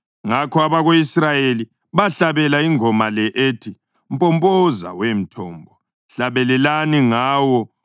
Ngakho abako-Israyeli bahlabela ingoma le ethi: “Mpompoza, wemthombo! Hlabelelani ngawo,